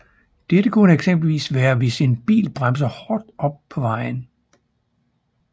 Dette kunne eksempelvis være hvis en bil bremser hårdt op på vejen